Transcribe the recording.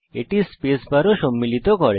এটি space bar ও সম্মিলিত করে